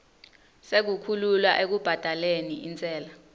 sekukhululwa ekubhadaleni intsela